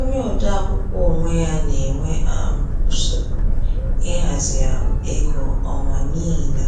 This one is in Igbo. Onye ode akwụkwọ onwe ya na-enwe um nsogbu ịhazi um ego ọnwa n’ihi na